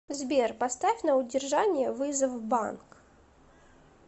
сбер поставь на удержание вызов банк